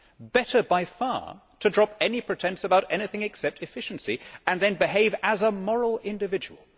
Better by far to drop any pretence about anything except efficiency and then behave as a moral individual.